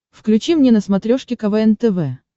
включи мне на смотрешке квн тв